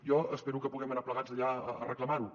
jo espero que puguem anar plegats allà a reclamar ho